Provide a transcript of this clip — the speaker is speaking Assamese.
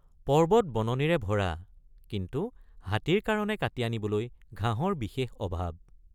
পৰ্বত বননিৰে ভৰা কিন্তু হাতীৰ কাৰণে কাটি আনিবলৈ ঘাঁহৰ বিশেষ অভাৱ।